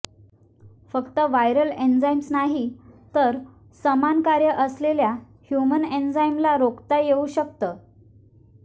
फक्त viral enzymes नाही तर समान कार्य असलेल्या ह्यूमन एंजाईमला रोकता येऊ शकतं